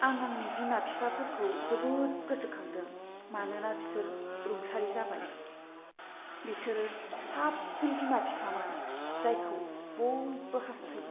आं आंनि बिमा बिफाफोरखौ जोबोद गोसोखांदों मानोना बिसोर रुंसारि जाबाय। बिसोरो साबसिन बिमा बिफामोन जायखौ बयबो हास्थायो।